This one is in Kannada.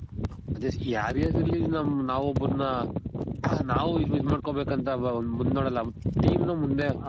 ಅದೆ ಯಾರೇ ಆಗಿರ್ಲಿ ನಮ್ ನಾವ್ ಒಬ್ರುನ್ನ ನಾವು use ಮಾಡ್ಕೊಬೇಕ್ ಅಂತ ಅಲ್ವ ಒಂದ್ ಮುಂದ್ ನೋಡಲ್ಲ team ನ ಮುಂದೆ